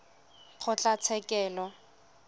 kgotlatshekelo